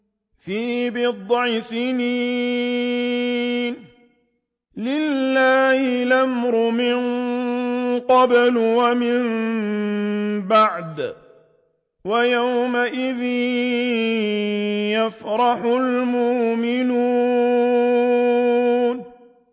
فِي بِضْعِ سِنِينَ ۗ لِلَّهِ الْأَمْرُ مِن قَبْلُ وَمِن بَعْدُ ۚ وَيَوْمَئِذٍ يَفْرَحُ الْمُؤْمِنُونَ